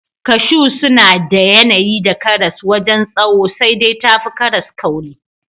Kashu suna da yanayi da karas wajen tsawo sai dai tafi karas kauri.